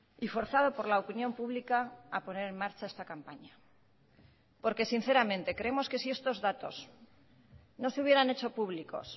y forzado por la opinión pública a poner en marcha esta campaña porque sinceramente creemos que si estos datos no se hubieran echo públicos